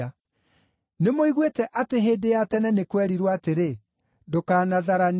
“Nĩmũiguĩte atĩ hĩndĩ ya tene nĩ kwerirwo atĩrĩ, ‘Ndũkanatharanie.’